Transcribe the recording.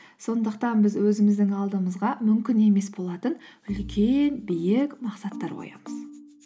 сондықтан біз өзіміздің алдымызға мүмкін емес болатын үлкен биік мақсаттар қоямыз